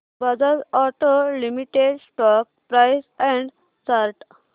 Bajaj Auto Limited stock price and chart